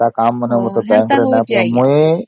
ମୁଁ ମୋ bank ରେ ପଇସା ରଖୁଛି